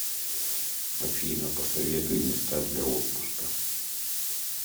афина посоветуй места для отпуска